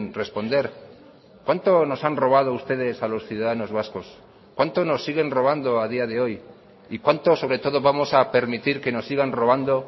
responder cuánto nos han robado ustedes a los ciudadanos vascos cuánto nos siguen robando a día de hoy y cuánto sobre todo vamos a permitir que nos sigan robando